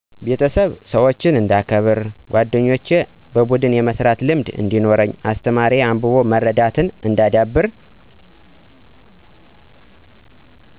የቤተሰብ -ሠወችን እንዳከበር ጓደኞቼ -በቡድን የመስራት ልምድ እዲኖረኝ አስተማሪ-አንብቦ መረዳትን እንዳዳብር